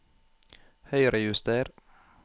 Høyrejuster